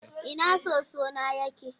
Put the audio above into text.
Ina soso na yake?